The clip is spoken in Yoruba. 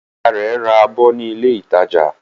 Ìyá rẹ̀ ra abọ́ ní ilé-ìtajà.